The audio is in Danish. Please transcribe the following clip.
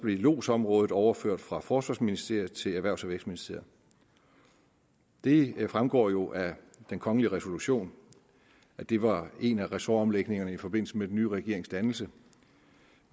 lodsområdet overført fra forsvarsministeriet til erhvervs og vækstministeriet det fremgår jo af den kongelige resolution at det var en af ressortomlægningerne i forbindelse med den nye regerings dannelse